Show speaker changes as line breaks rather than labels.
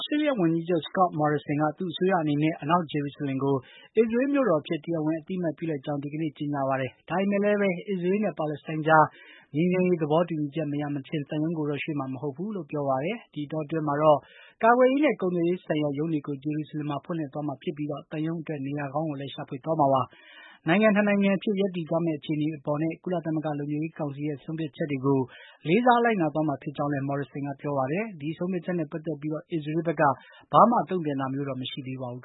စတေးလျဝန်ကြီးချုပ် က သူ့အစိုးရအနေနဲ့ အနောက်ဂျေရုဆလင်ကို အစ္စရေးမြို့တော် အဖြစ် တရားဝင်အသိအမှတ်ပြုလိုက်ကြောင်း ဒီကနေ့ ကြေညာပါတယ်။ ဒါပေမယ့်လည်း အစ္စရေးနဲ့ ပါလက်စတိုင်းကြား ငြိမ်းချမ်းရေး သဘောတူညီချက်မရမချင်း သံရုံးကိုတော့ ရွှေ့မှာ မဟုတ်ဘူးလို့ ပြောပါတယ်။ ဒီအတောအတွင်းမှာတော့ ကာကွယ်ရေးနဲ့ ကုန်သွယ်ရေးဆိုင်ရာ ရုံးတွေကို ဂျေရုဆလင်မှာ ဖွင့်သွားမှာဖြစ်ပြီး သံရုံးအတွက် နေရာကောင်းကိုလည်း ရှာဖွေသွားမှာပါ။ နိုင်ငံ ၂ နိုင်ငံအဖြစ် ရပ်တည်သွားမယ့် အခြေအနေ အပေါ်နဲ့ ကုလသမဂ္ဂလုံခြုံရေးကောင်စီရဲ့ ဆုံးဖြတ်ချက်တွေကို လေးစားလိုက်နာသွားမှာဖြစ်ကြောင်းလည်း မော်ရစ်ဆင်ကပြောပါတယ်။ ဒီဆုံးဖြတ်ချက်နဲ့ ပတ်သက်ပြီး အစ္စရေးဘက်က ဘာမှ တုံ့ပြန်တာမျိုးတော့ မရှိသးပါဘူး။